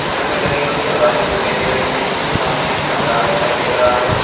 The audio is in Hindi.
घर में लगे हुए दरवाजे दिखाई दे रहे है सामने एक पंडाल दिखाई दे रहा है।